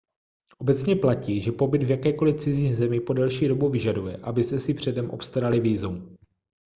obecně platí že pobyt v jakékoli cizí zemi po delší dobu vyžaduje abyste si předem obstarali vízum